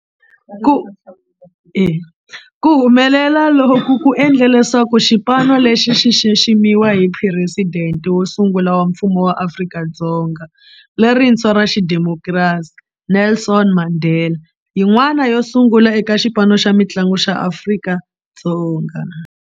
Ku humelela loku ku endle leswaku xipano lexi xi xiximiwa hi Presidente wo sungula wa Mfumo wa Afrika-Dzonga lerintshwa ra xidemokirasi, Nelson Mandela, yin'wana yo sungula eka xipano xa mintlangu xa Afrika-Dzonga.